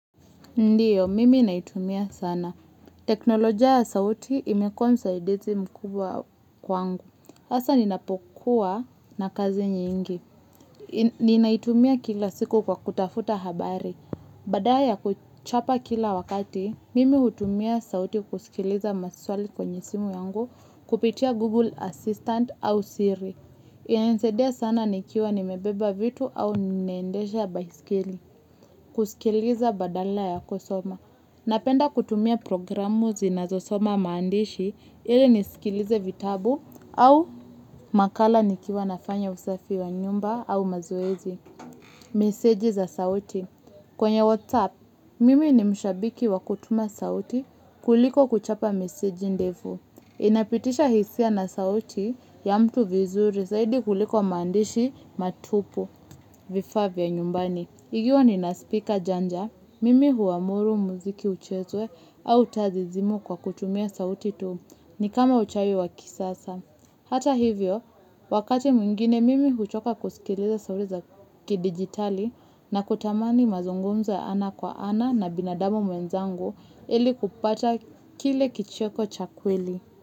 Ndiyo, mimi naitumia sana. Teknoloja ya sauti imekuwa msaidizi mkubwa kwangu. Hasa ninapokuwa na kazi nyingi. Ninaitumia kila siku kwa kutafuta habari. Badala kuchapa kila wakati, mimi hutumia sauti kusikiliza maswali kwenye simu yangu, kupitia Google Assistant au Siri. Inanisaidia sana nikiwa nimebeba vitu au ninaendesha baisikeli. Kusikiliza badala ya kusoma. Napenda kutumia programu zinazosoma maandishi ili nisikilize vitabu au makala nikiwa nafanya usafi wa nyumba au mazoezi. Meseji za sauti. Kwenye WhatsApp, mimi ni mshabiki wa kutuma sauti kuliko kuchapa meseji ndefu. Inapitisha hisia na sauti ya mtu vizuri zaidi kuliko maandishi matupu vifaa vya nyumbani. Ikiwa nina spika janja, mimi huamuru muziki uchezwe au taa zizimwe kwa kutumia sauti tu ni kama uchawi wa kisasa. Hata hivyo, wakati mwingine mimi huchoka kusikiliza sauti za kidigitali na kutamani mazungumzo ya ana kwa ana na binadamu mwenzangu ili kupata kile kicheko cha kweli.